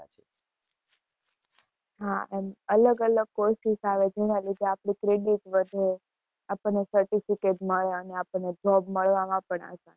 હા and અલગ-અલગ courses આવે, જેના લીધે આપણું credit વધે, આપણને certificate મળે અને આપણને job મળવામાં પણ આસાન